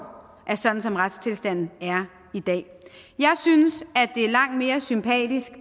er sådan som retstilstanden er i dag jeg synes at det er langt mere sympatisk